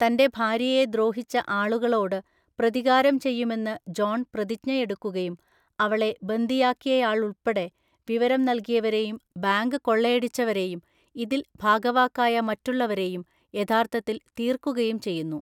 തൻ്റെ ഭാര്യയെ ദ്രോഹിച്ച ആളുകളോട് പ്രതികാരം ചെയ്യുമെന്ന് ജോൺ പ്രതിജ്ഞയെടുക്കുകയും അവളെ ബന്ദിയാക്കിയയാളുൾപ്പെടെ വിവരം നൽകിയവരെയും ബാങ്ക് കൊള്ളയടിച്ചവരെയും ഇതിൽ ഭാഗവാക്കായ മറ്റുള്ളവരെയും യഥാർത്ഥത്തിൽ തീർക്കുകയും ചെയ്യുന്നു.